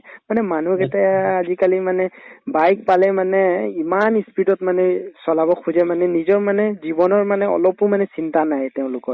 মানে মানুহক এতিয়া আজিকালি মানে bike পালেই মানে ইমান ই speed ত মানে চলাব খোজে মানে নিজৰ মানে জীৱনৰ মানে অলপো মানে চিন্তা নাহে তেওঁলোকৰ